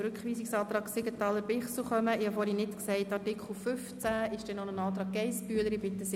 Ich äussere mich zu Artikel 10 Absatz 2